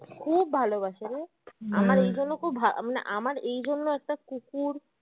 খুব ভালোবাসে রে জন্য ওকে ভা উম না আমার এইজন্য একটা কুকুর